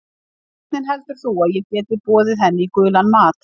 Hvernig heldur þú að ég geti boðið henni í gulan mat?